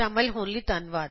ਸ਼ਾਮਲ ਹੋਣ ਲਈ ਧੰਨਵਾਦ